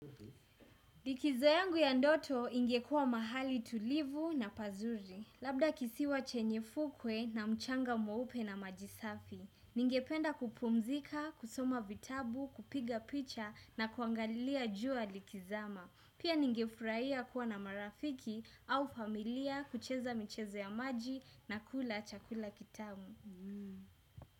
Likizo yangu ya ndoto ingekua mahali tulivu na pazuri. Labda kisiwa chenye fukwe na mchanga mweupe na maji safi. Ningependa kupumzika, kusoma vitabu, kupiga picha na kuangalilia jua likizama. Pia ningefuraia kuwa na marafiki au familia kucheza michezo ya maji na kula chakula kitamu.